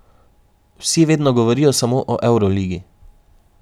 Vsi vedno govorijo samo o evroligi.